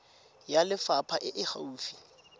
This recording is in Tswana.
ya lefapha e e gaufi